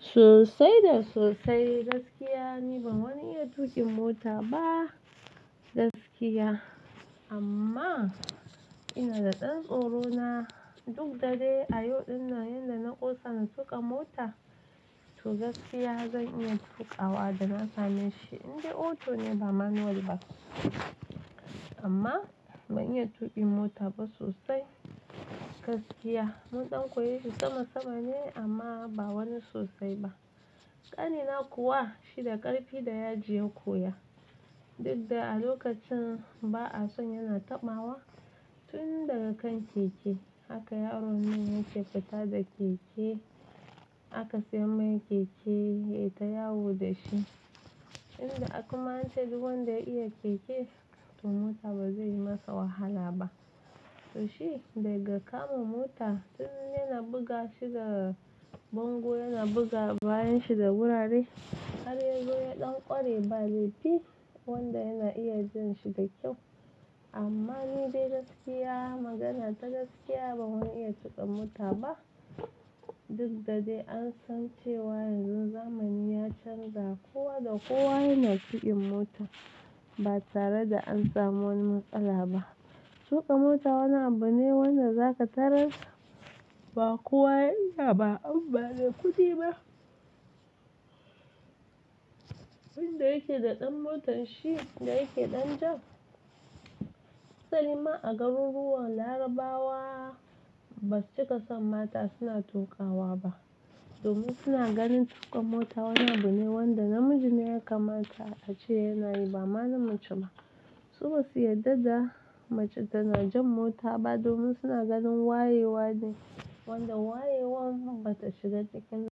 Sosai da sosai gaskiya ni ban wani iya tuƙin mota ba gaskiya amma ina da ɗan tsoro na duk da dai a yau din nan yanda na ƙosa na tuƙa mota to gaskiya zan iya tuƙawa da na same shi indai auto ne ba manual ba amma ban iya tuƙin mota ba sosai gaskiya mun ɗan koya shi sama sama ne amma ba wani sosai ba ƙanina kuwa shi da ƙarfi da yaji ya koya duk da a lokacin ba'a son yana taɓawa tun daga kan keke haka yaron nan yake fita da keke aka siyo mai keke ya yi ta yawo da shi inda aka manta da wanda ya iya keke to mota ba zai yi masa wahala ba to shi daga kama mota tun yana buga shi da bango yana buga bayan shi da wurare har yazo ya ɗan ƙware ba laifi wanda yana iya janshi da kyau amma ni dai gaskiya magana ta gaskiya ban iya tuƙin mota ba duk da dai an san cewa yanzu zamani ya canza kowa da kowa yana tuƙin mota ba tare da an samu wani matsala ba tuƙa mota wani abu ne wanda za ka tarar ba kowa ya iya ba inba mai kuɗi ba wanda yake da ɗan motar shi da yake ɗan ja asali ma a garuruwan Larabawa ba su cika son mata suna tuƙawa ba domin suna ganin tuƙa mota wani abu ne wanda namiji ne ya kamata a ce yana yi ba mana mace ba su ba su yarda da mace tana jan mota ba domin suna ganin wayewa ne wanda wayewar bata shiga cikinta.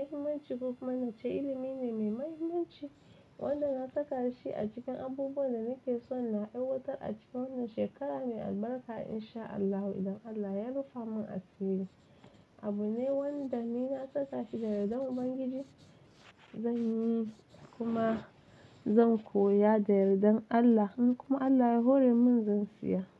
Muhimmanci government ta ilimi ne mai muhimmanci wanda na saka shi a cikin abubuwan da nake so na aiwatar a cikin wannan shekara mai albarka in sha Allahu idan Allah ya rufa mun a siri abu ne wanda ni na saka shi da yardan Ubangiji zan yi kuma zan koya da yardan Allah in kuma Allah ya hore mun zan siya.